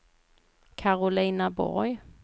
Karolina Borg